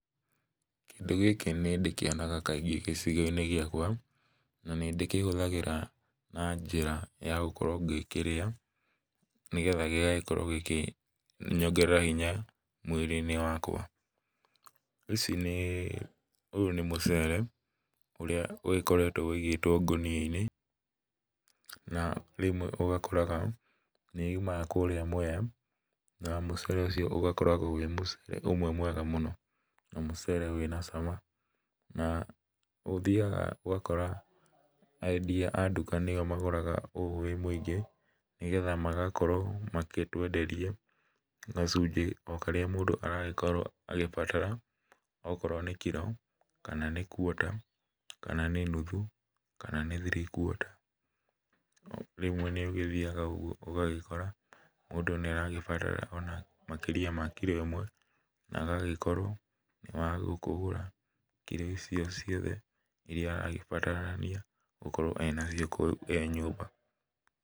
Kĩndũ gĩkĩ nĩndĩkĩonaga kaingĩ gĩcigo-inĩ gĩakwa, na nĩndĩkĩhũthagíra na njĩra ya gũkorwo ngĩkĩrĩa, nĩgetha gĩgagĩkorwo gĩgĩ kĩnyongerera hinya mwĩrĩ-inĩ wakwa, ici nĩ, ũyũ nĩ mũcere ũrĩa ũgĩkoretwo wũigĩtwo ngonia-inĩ, na rĩmwe ũgakora nĩ yumaga kũrĩa mwea, na mũcere ũcio ũgakoragwo wĩ mũcere ũmwe mwega mũno na mũcere wĩna cama, na ũthiaga ũgakora endia a nduka nĩo magũraga ũũ wĩ mũingĩ, nĩgetha magakorwo magĩtwenderia gacunjĩ o karĩa mũndũ aragĩkorwo agĩbatara, okorwo nĩ kirũ, kana nĩ quater kana nĩ nuthu, kana ni three quater rĩmwe nĩũthiaga ũgagĩkora mũndũ nĩabaragĩbatara ona makĩria ma kirũ ĩmwe, na agagĩkorwo nĩagũgĩkĩgũra kirũ icio ciothe, iria aragĩbatarania, gũkorwo arĩ na cia kũhũthĩra nyũmba.